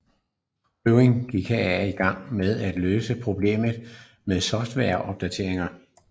Boeing gik herefter i gang med at løse problemet med softwareopdateringer